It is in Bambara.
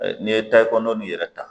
N'i ye tayikono nin yɛrɛ ta.